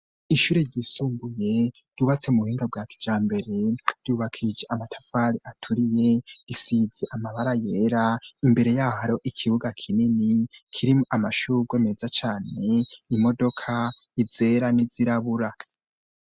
Ishure ryisumbuye ryubatse mu buhinga bwa kijambere ryubakije amatafari aturiye isize amabara yera imbere yaho hariho ikibuga kinini kirimwo amashugwe meza cane imodoka izera n'izirabura.